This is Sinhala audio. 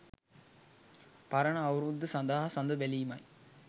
පරණ අවුරුද්ද සඳහා සඳ බැලීමයි